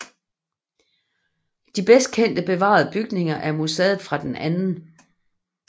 De bedst kendt bevarede bygninger er museet fra den 2